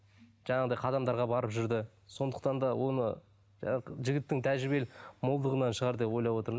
жаңағындай қадамдарға барып жүрді сондықтан да оны жігіттің тәжірибелік молдығынан шығар деп ойлап отырмын